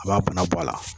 A b'a bana bɔ a la